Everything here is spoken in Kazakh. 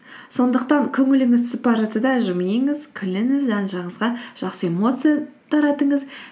сондықтан көңіліңіз түсіп бара жатса да жымиыңыз күліңіз жан жағыңызға жақсы эмоция таратыңыз